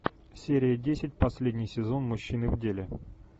серия десять последний сезон мужчины в деле